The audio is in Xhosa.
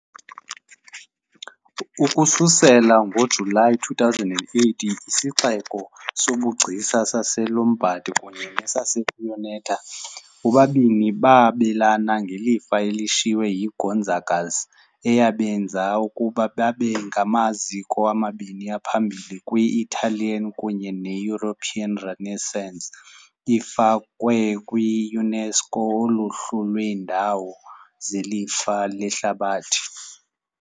Ukususela ngoJulayi 2008, isixeko sobugcisa saseLombard, kunye neSabbioneta, bobabini babelana ngelifa elishiywe yiGonzagas eyabenza ukuba babe ngamaziko amabini aphambili kwi- Italian kunye ne-European Renaissance, ifakwe kwi- UNESCO uluhlu lweendawo zelifa lehlabathi .